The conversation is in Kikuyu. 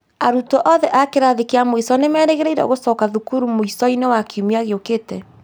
Arutwo othe a kĩrathi kia mũico nĩ merĩgĩrĩirwo gũcoka thukuru mũico-inĩ wa kiumia gĩukĩte